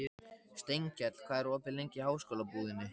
Steinkell, hvað er opið lengi í Háskólabúðinni?